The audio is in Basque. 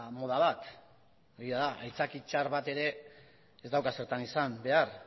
moda bat egia da aitzaki txar bat ere ez dauka zertan izan behar